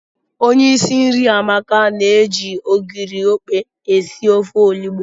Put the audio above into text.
Onye isi nri Amaka na-eji ogiri okpe esi ofe olugbo.